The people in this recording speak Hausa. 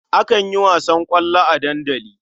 Akan yi wasan ƙwallo a dandali.